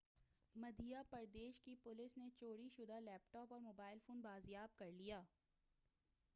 مدھیہ پردیش کی پولیس نے چوری شدہ لیپ ٹاپ اور موبائل فون بازیاب کر لیا